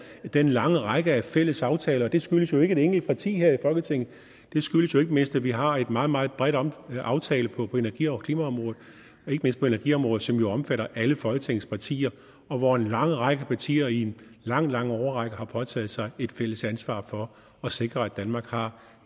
den lange række af fælles aftaler det skyldes jo ikke et enkelt parti her i folketinget det skyldes jo ikke mindst at vi har en meget meget bred aftale på energi og klimaområdet ikke mindst på energiområdet som jo omfatter alle folketingets partier og hvor en lang række partier i en lang lang årrække har påtaget sig et fælles ansvar for at sikre at danmark har